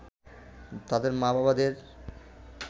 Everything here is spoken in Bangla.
তাদের মা-বাবাদের